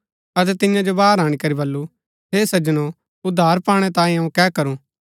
अतै तियां जो बाहर अणीकरी बल्लू हे सज्जनो उद्धार पाणै तांयें अऊँ कै करू